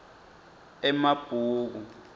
emabhuku